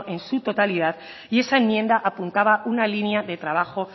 en su totalidad y esa enmienda apuntaba una línea de trabajo